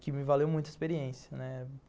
Que me valeu muito a experiência, né?